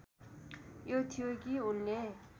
यो थियो कि उनले